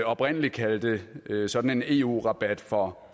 oprindelig kaldte sådan en eu rabat for